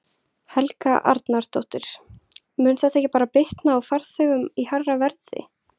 Helga Arnardóttir: Mun þetta ekki bara bitna á farþegunum í hærra verði?